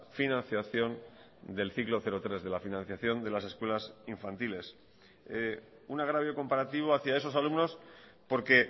financiación del ciclo cero tres de la financiación de las escuelas infantiles un agravio comparativo hacia esos alumnos porque